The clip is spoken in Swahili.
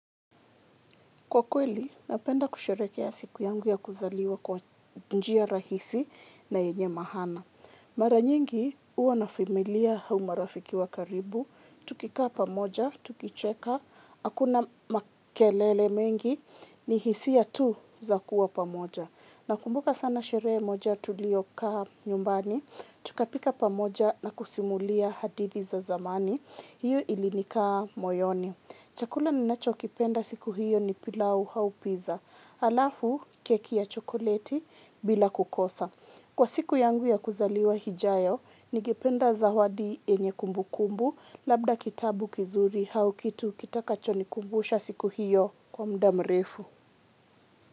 Kwa kweli, napenda kusherehekea siku yangu ya kuzaliwa kwa njia rahisi na yenye mahana. Mara nyingi, huwa nafimilia hao marafiki wa karibu, tukikaa pamoja, tukicheka, hakuna makelele mengi, ni hisia tu za kuwa pamoja. Nakumbuka sana sherehe moja tuliyokaa nyumbani, tukapika pamoja na kusimulia hadithi za zamani, hiyo ilinikaa moyoni. Chakula ninachokipenda siku hiyo ni pilau au pizza, halafu keki ya chokoleti bila kukosa. Kwa siku yangu ya kuzaliwa hijayo, ningependa zawadi yenye kumbukumbu, labda kitabu kizuri hau kitu kitakachonikumbusha siku hiyo kwa mda mrefu.